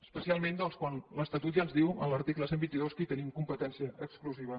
especialment doncs quan l’estatut ja ens diu en l’article cent i vint dos que hi tenim competència exclusiva